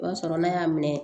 O b'a sɔrɔ n'a y'a minɛ